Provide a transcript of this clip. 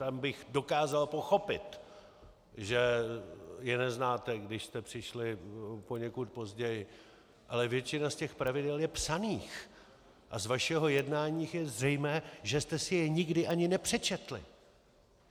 Tam bych dokázal pochopit, že je neznáte, když jste přišli poněkud později, ale většina z těch pravidel je psaných a z vašeho jednání je zřejmé, že jste si je nikdy ani nepřečetli.